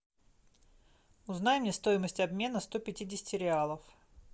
узнай мне стоимость обмена сто пятидесяти реалов